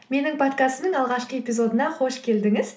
менің подкастымның алғашқы эпизодына қош келдіңіз